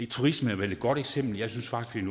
turisme er vel et godt eksempel jeg synes faktisk